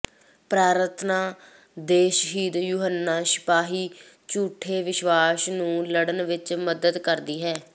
ਪ੍ਰਾਰਥਨਾ ਦੇ ਸ਼ਹੀਦ ਯੂਹੰਨਾ ਸਿਪਾਹੀ ਝੂਠੇ ਵਿਸ਼ਵਾਸ ਨੂੰ ਲੜਨ ਵਿੱਚ ਮਦਦ ਕਰਦੀ ਹੈ